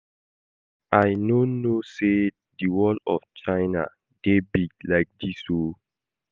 I no know say the wall of China dey big like dis oo